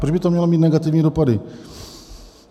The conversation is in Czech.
Proč by to mělo mít negativní dopady?